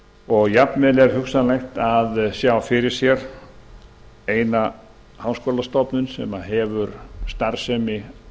og jafnvel er hugsanlegt að sjá fyrir sér eina háskólastofnun með starfsemi